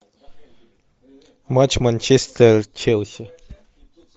матч манчестер челси